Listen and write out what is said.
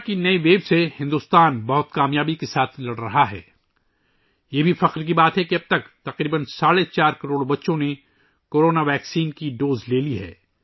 Bharat corona کی نئی لہر کے ساتھ بڑی کامیابی کے ساتھ لڑ رہا ہے، یہ بھی فخر کی بات ہے کہ اب تک تقریباً 4.5 کروڑ بچے کورونا ویکسین کی خوراک لے چکے ہیں